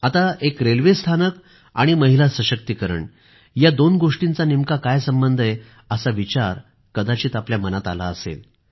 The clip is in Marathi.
आता एक रेल्वे स्थानक आणि महिला सशक्तीकरण या दोन्ही गोष्टींचा नेमका काय संबंध आहे असा विचार आपल्या मनात आला असेल